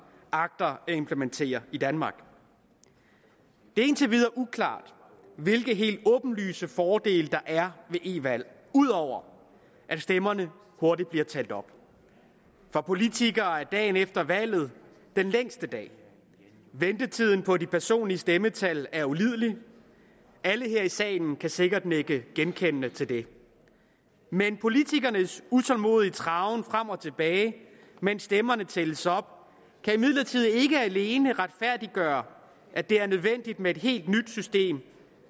agter at implementere i danmark det er indtil videre uklart hvilke helt åbenlyse fordele der er ved e valg ud over at stemmerne hurtigt bliver talt op for politikere er dagen efter valget den længste dag ventetiden på de personlige stemmetal er ulidelig alle her i salen kan sikkert nikke genkendende til det men politikernes utålmodige traven frem og tilbage mens stemmerne tælles op kan imidlertid ikke alene retfærdiggøre at det er nødvendigt med et helt nyt system